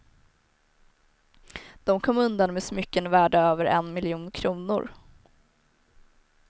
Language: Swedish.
De kom undan med smycken värda över en miljon kronor.